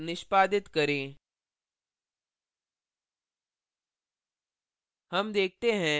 compile और निष्पादित करें